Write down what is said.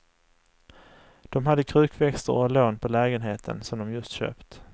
De hade krukväxter och lån på lägenheten som de just köpt.